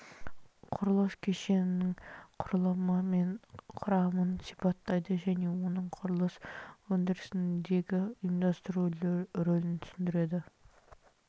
құрылыс кешенінің құрылымы мен құрамын сипаттайды және оның құрылыс өндірісіндегі ұйымдастыру рөлін түсіндіреді